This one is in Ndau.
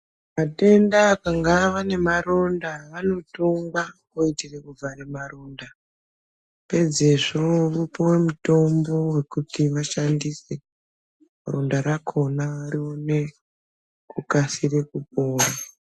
Matenda kana awa nemaronda anotungwa kuitire kuvhare maronda pedzezvo wopuwa mutombo wekuti washandise ronda rakona rione kukasika kupora.